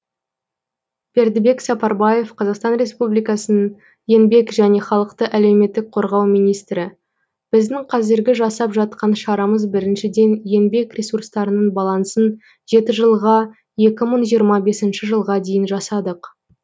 бердібек сапарбаев қазақстан республикасының еңбек және халықты әлеуметтік қорғау министрі біздің қазіргі жасап жатқан шарамыз біріншіден еңбек ресурстарының балансын жеті жылға екі мың жиырма бесінші жылға дейін жасадық